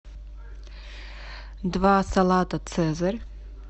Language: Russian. два салата цезарь